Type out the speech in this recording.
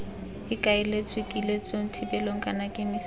ikaeletswe kiletsong thibelong kana kemisong